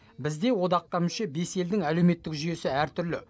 бізде одаққа мүше бес елдің әлеуметтік жүйесі әртүрлі